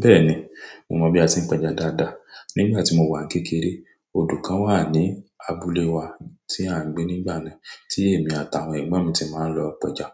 Bẹ́ẹ̀ni, mo mọ̀ bí a ti ń pẹja dáadáa. Nígbà tí mo wà kékeré, odò kan wà ní abúlé wa tí à ń gbé nígbà náà tí èmi àtàwọn ẹ̀gbọ́n mi ti máa ń lọ pẹja.